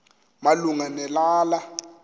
malunga ne lala